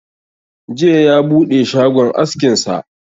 Jiya ya buɗe shagon askin sa